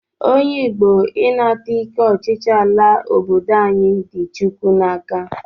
Onye Igbo ịnata ike ọchịchị ala obodo anyị dị Chukwu n'aka